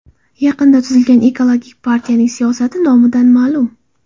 Yaqinda tuzilgan Ekologik partiyaning siyosati nomidan ma’lum.